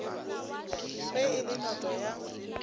ge e le noto ya